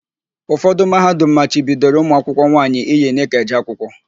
Ụfọdụ Mahadum machibidoro ụmụakwụkwọ nwaanyị iyi nịka eje akwụkwọ.